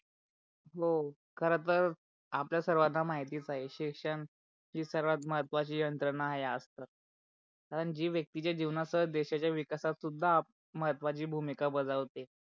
हो खर तर आपल्या सर्वाना महितीच आहे शिक्षण ही सर्वात महत्वाची यंत्रण आहे आजत. कारण जी व्यक्तीच्या जीवनस देशाच्या विकाशात सुद्धा महत्वाची भूमिका बजावते.